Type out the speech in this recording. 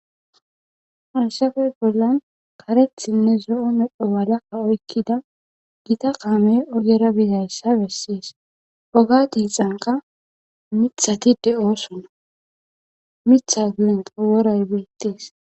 Haysape bolan karetinne zo'o medho mala oykida gita kamey ogera bizaysa beses oge xiqanka mithati de'osona Mitha guyenka woray betes.